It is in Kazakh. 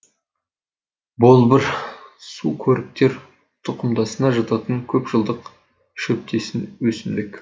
болбыр сукөріктер тұқымдасына жататын көп жылдық шөптесін өсімдік